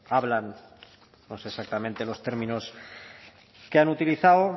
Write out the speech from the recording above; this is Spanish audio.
hablan no sé exactamente los términos que han utilizado